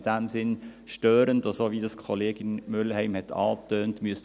Dies ist in diesem Sinn störend, so wie dies Kollegin Mühlheim angetönt hat.